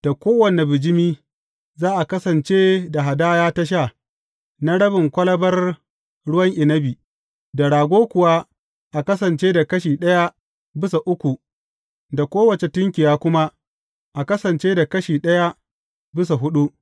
Da kowane bijimi, za a kasance da hadaya ta sha, na rabin kwalabar ruwan inabi; da rago kuwa, a kasance da kashi ɗaya bisa uku; da kowace tunkiya kuma, a kasance da kashi ɗaya bisa huɗu.